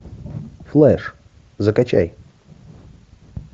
флэш закачай